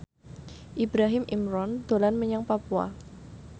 Ibrahim Imran dolan menyang Papua